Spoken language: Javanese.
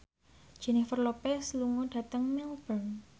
Jennifer Lopez lunga dhateng Melbourne